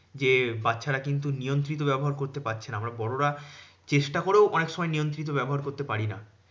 যে বাচ্চারা কিন্তু নিয়ন্ত্রিত ব্যবহার করতে পারছে না। আমরা বড়োরা চেষ্টা করেও অনেক সময় নিয়ন্ত্রিত ব্যবহার করতে পারিনা।